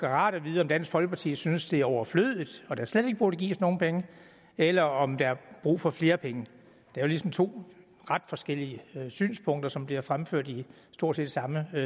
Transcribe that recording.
rart at vide om dansk folkeparti synes at det er overflødigt og der slet ikke burde gives nogen penge eller om der er brug for flere penge det er ligesom to ret forskellige synspunkter som bliver fremført i stort set samme